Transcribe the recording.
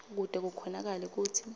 kute kukhonakale kutsi